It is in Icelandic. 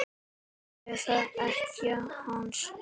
Eða ekkja hans?